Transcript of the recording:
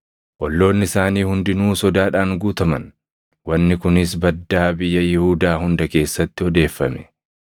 Olloonni isaanii hundinuu sodaadhaan guutaman; wanni kunis baddaa biyya Yihuudaa hunda keessatti odeeffame.